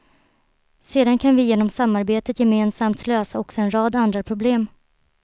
Sedan kan vi genom samarbetet gemensamt lösa också en rad andra problem.